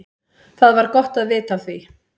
Það var gott vita af því.